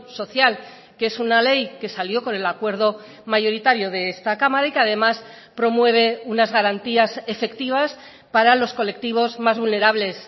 social que es una ley que salió con el acuerdo mayoritario de esta cámara y que además promueve unas garantías efectivas para los colectivos más vulnerables